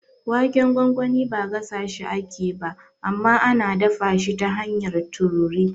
Waken gwangwani ba gasashi ake ba, amma ana dafa shi ta hanyar tururi.